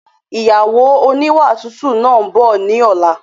Ìyàwó oníwà tútù náà ń bọ̀ ni ọ̀la